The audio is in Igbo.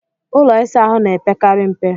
Ụlọ ịsa ahụ na-epekarị mpe.